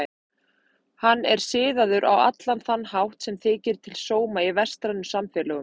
Hann er siðaður á allan þann hátt sem þykir til sóma í vestrænum samfélögum.